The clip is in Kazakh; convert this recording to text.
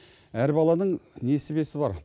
әр баланың несібесі бар